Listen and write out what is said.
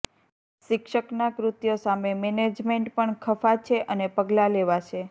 શિક્ષકના કૃત્ય સામે મેનેજમેન્ટ પણ ખફા છે અને પગલા લેવાશે